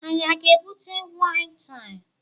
Anyị a ga-ebute waịn taa?